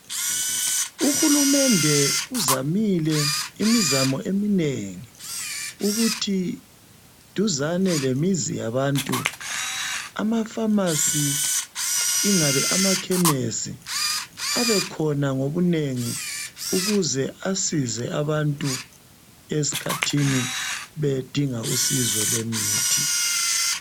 Uhulumende uzamile imizamo eminengi ukuthi duzane lemizi yabantu, amafamasi ingabe amakhemesi abekhona ngobunengi ukuze asize abantu esikhathini bedinga usizo lwemithi.